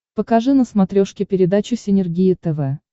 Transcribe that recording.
покажи на смотрешке передачу синергия тв